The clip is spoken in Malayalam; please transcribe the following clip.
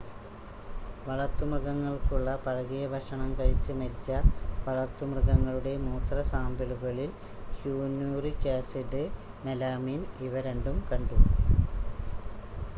വളർത്തു മൃഗങ്ങൾക്കുള്ള പഴകിയ ഭക്ഷണം കഴിച്ച് മരിച്ച വളർത്തുമൃഗങ്ങളുടെ മൂത്ര സാമ്പിളുകളിൽ ക്യനൂറിക് ആസിഡ് മെലാമിൻ ഇവ രണ്ടും കണ്ടു